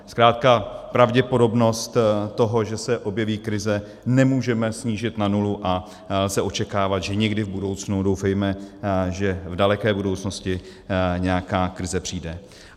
Zkrátka pravděpodobnost toho, že se objeví krize, nemůžeme snížit na nulu a lze očekávat, že někdy v budoucnu, doufejme, že v daleké budoucnosti, nějaká krize přijde.